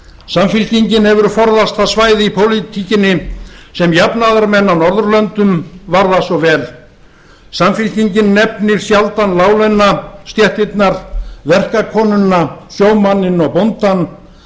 samfylkingin hefur forðast það svæði í pólitíkinni sem jafnaðarmenn á norðurlöndum varða svo vel samfylkingin nefnir sjaldan láglauna stéttirnar verkakonuna sjómanninn og bóndann